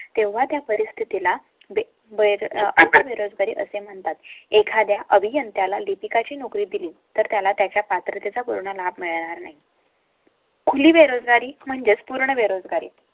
तेव्हा त्या परिस्थिती ला अं बळी म्हणतात. एखाद्या अभियंत्या ला लिपिका ची नोकरी दिली. तर त्याला त्याच्या पात्रते चा पूर्ण लाभ मिळणार नाही. खुली बेरोजगारी म्हणजेच पूर्ण बेरोजगारी